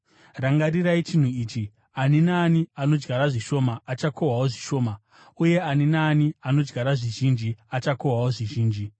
Rangarirai chinhu ichi: Ani naani anodyara zvishoma achakohwawo zvishoma, uye ani naani anodyara zvizhinji achakohwawo zvizhinji.